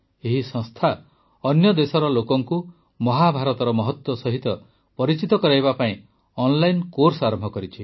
ଏହି ସଂସ୍ଥା ଅନ୍ୟ ଦେଶର ଲୋକଙ୍କୁ ମହାଭାରତର ମହତ୍ୱ ସହିତ ପରିଚିତ କରାଇବା ପାଇଁ ଅନଲାଇନ୍ କୋର୍ସ ଆରମ୍ଭ କରିଛି